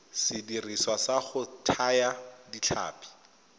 sediriswa sa go thaya ditlhapi